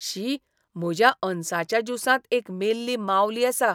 शी म्हज्या अनसाच्या ज्युसांत एक मेल्ली मावली आसा.